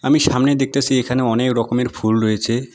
আমি সামনে দেখতাসি এখানে অনেক রকমের ফুল রয়েছে।